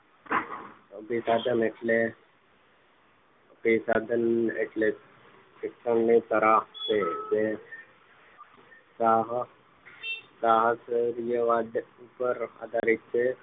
અભિસંધાન એટલે અભિસંધાન એટલે શિક્ષણની કલા છે કે ગ્રાહક તુપ પર આધારિત છે